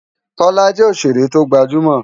Kola jè óṣéré tógbájúmò